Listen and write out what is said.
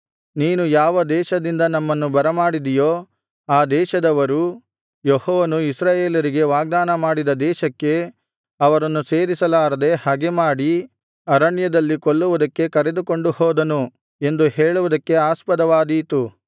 ನೀನು ಯಾವ ದೇಶದಿಂದ ನಮ್ಮನ್ನು ಬರಮಾಡಿದಿಯೋ ಆ ದೇಶದವರು ಯೆಹೋವನು ಇಸ್ರಾಯೇಲರಿಗೆ ವಾಗ್ದಾನಮಾಡಿದ ದೇಶಕ್ಕೆ ಅವರನ್ನು ಸೇರಿಸಲಾರದೆ ಹಗೆಮಾಡಿ ಅರಣ್ಯದಲ್ಲಿ ಕೊಲ್ಲುವುದಕ್ಕೆ ಕರೆದುಕೊಂಡು ಹೋದನು ಎಂದು ಹೇಳುವುದಕ್ಕೆ ಆಸ್ಪದವಾದೀತು